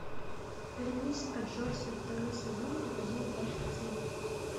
вернись аджосси второй сезон эпизод двадцать семь